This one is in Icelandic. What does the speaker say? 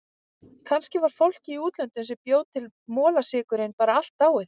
Kannski var fólkið í útlöndunum sem bjó til molasykurinn bara allt dáið.